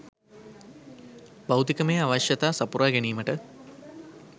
භෞතිකමය අවශ්‍යතා සපුරා ගැනීමට